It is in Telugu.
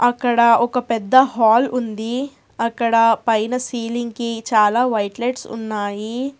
అక్కడ ఒక పెద్ద హాల్ ఉంది అక్కడ పైన సీలింగ్ కి చాలా వైట్ లైట్స్ ఉన్నాయి.